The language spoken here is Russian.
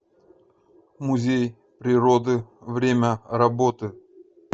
музей природы время работы